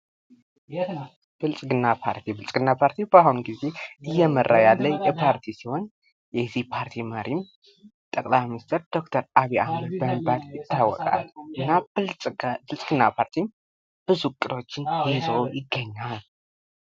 ብልጽግና ፓርቲ ብልጽግና ፓርቲ በአሁኑ ጊዜ እየመራ ያለ ፓርቲ ሲሆን ይህ ፓርቲ መሪ ጠቅላይ ሚኒስትር ዶክተር አብይ አህመድ በመባል ይታወቃል ይህ የብልጽግና ፓርቲ ብዙ እቅዶችን ይዞ ይገኛል።